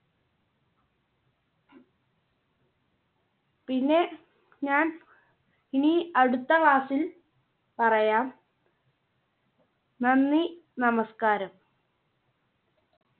പിന്നെ ഞാൻ ഇനി അടുത്ത class ൽ പറയാം. നന്ദി, നമസ്കാരം.